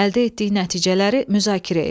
Əldə etdiyi nəticələri müzakirə et.